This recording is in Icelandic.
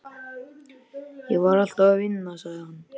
Ég var alltaf að vinna, sagði hann.